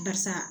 Barisa